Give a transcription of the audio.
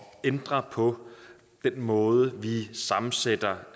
ændre på den måde vi sammensætter